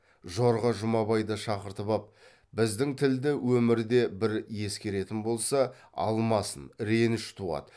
жорға жұмабайды шақыртып ап біздің тілді өмірде бір ескеретін болса алмасын реніш туады